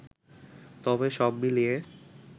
তবে সব মিলিয়ে